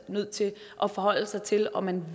nødt til at forholde sig til om man